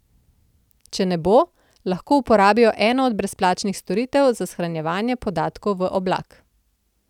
Če ne bo, lahko uporabijo eno od brezplačnih storitev za shranjevanje podatkov v oblak.